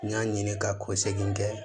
N y'a ɲini ka ko segin kɛ